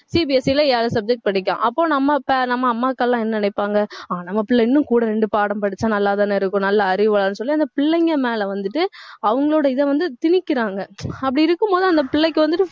CBSE ல ஏழு subject படிக்கலாம். அப்ப நம்ம pa~ நம்ம அம்மாக்கள் எல்லாம் என்ன நினைப்பாங்க அவன் நம்ம பிள்ளை இன்னும் கூட ரெண்டு பாடம் படிச்சா நல்லாதானே இருக்கும். நல்ல அறிவு வளரும் சொல்லி அந்த பிள்ளைங்க மேல வந்துட்டு, அவங்களோட இதை வந்து திணிக்கிறாங்க அப்படி இருக்கும்போது அந்த பிள்ளைக்கு வந்துட்டு